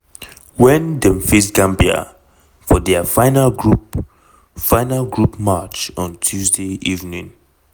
wen dem face gambia for dia final group final group match on tuesday evening.